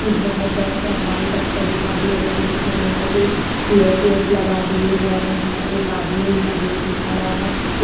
एक बहोत बड़ा सा हॉल टाइप का दिखा दिया गया है जिसमें लोहे के चेयर वेयर्स लगा दिए गए हैं एक आदमी है जो की खड़ा है ओ--